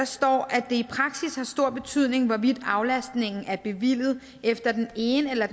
står at det i praksis har stor betydning hvorvidt aflastningen er bevilget efter den ene eller